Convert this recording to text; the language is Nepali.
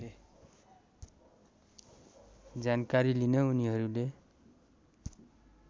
जानकारी लिन उनीहरूले